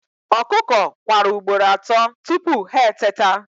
Ọkụkọ kwara ugboro atọ tupu ha eteta